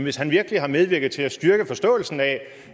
hvis han virkelig har medvirket til at styrke forståelsen af